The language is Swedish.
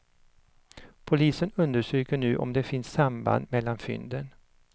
Polisen undersöker nu om det finns samband mellan fynden.